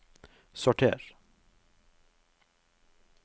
sorter